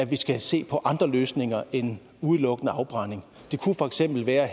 vi skal se på andre løsninger end udelukkende afbrænding det kunne for eksempel være